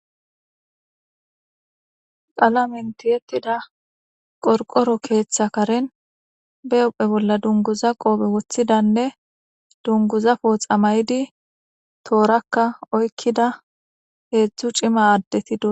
Qalamenti yettida qorqoro keeththa karen be uphe bolla dunguza qoope woththidanne dunguza pooxa maydi toorakka oykkida heedzdzu cima aaddetido